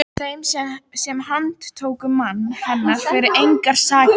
Þeim sem handtóku mann hennar fyrir engar sakir!